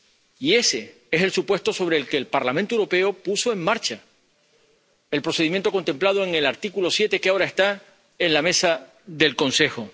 Y ese es el supuesto sobre el que el Parlamento Europeo puso en marcha el procedimiento contemplado en el artículo 7, que ahora está en la mesa del Consejo.